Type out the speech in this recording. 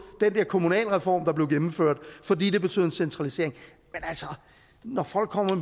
den der kommunalreform der blev gennemført fordi det betød en centralisering men når folk